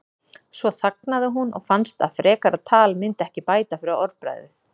Svo þagnaði hún og fannst að frekara tal myndi ekki bæta fyrir orðbragðið.